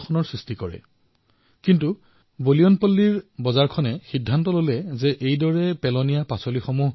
কিন্তু বোয়িনপল্লীৰ শাকপাচলিৰ বজাৰখনে এয়া সিদ্ধান্ত গ্ৰহণ কৰিলে যে ইয়াৰ দ্বাৰা বিদ্যুৎ উৎপাদন কৰা হব